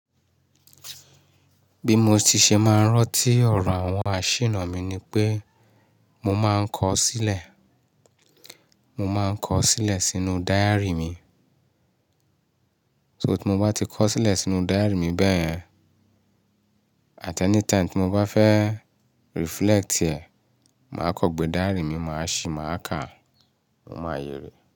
Bí mo ti ṣe máa ń rọ́ntí ọ̀rọ̀ àwọn àṣìná mi ni pé mo máa ń kọ sílẹ̀, mo máa ń kọ sílẹ̀ sínú diary mi. So tí mo bá ti kọ sílẹ̀ sínú diary mi bẹ́ yẹ n, at any time tí mo bá fẹ́ reflect ẹ̀, màá kọ́ gbé diary mi, màá ṣì, màá kà, mo máa yẹ̀ rí.